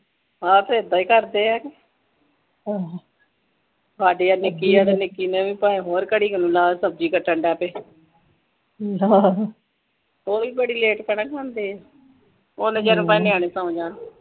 ਹਾਂ ਫ਼ੇਰ ਏਦਾਂ ਹੀ ਕਰਦੇ ਹੈ ਸਾਡੀ ਨੀਕੀ ਤੇ ਨੀਕੀ ਨੇ ਵੀ ਹੋਰ ਕੜੀ ਨਾਲ ਸਬਜੀ ਕੱਟਣ ਲਾਤੇ ਉਹਵੀ ਬੜੀ late ਖਾਣਾ ਖਾਂਦੇ ਆ ਓਦੋ ਜਦੋ ਤਕ ਨਿਆਣੇ ਸੌ ਜਾਣ